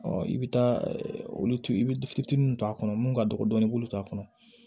i bɛ taa olu tu i bɛ fitinin min to a kɔnɔ mun ka dɔgɔ dɔɔnin i b'olu t'a kɔnɔ